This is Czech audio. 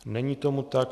Není tomu tak.